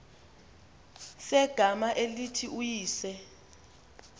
segama elithi uyise